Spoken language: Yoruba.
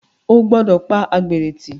O gbọ́dọ̀ pa àgbèrè tì.